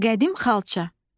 Qədim xalça.